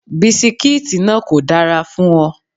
Bisikítì náà kò dára fún ọ.